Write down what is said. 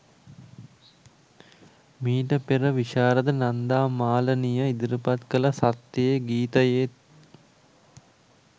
මීට පෙර විශාරද නන්දා මාලනිය ඉදිරිපත් කළ සත්‍යයේ ගීතයේත්